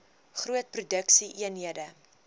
groot produksie eenhede